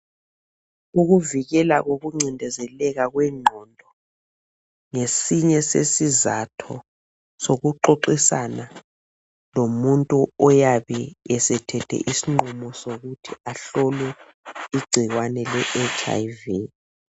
Ukuvikela kokuncindezeleka kwengqondo, nggesinye sesizatho sokuxoxisana lomuntu oyabe esethe isinqumo sokuthi ahlolwe igcikwane le etshi ayi vi.